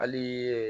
Hali